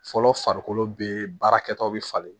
Fɔlɔ farikolo bɛ baara kɛtɔ bɛ falen